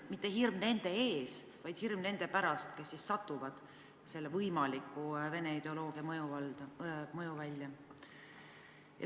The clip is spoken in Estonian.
Mitte hirm nende ees, vaid hirm nende pärast, kes satuvad Venemaa võimaliku ideoloogia mõjuvälja.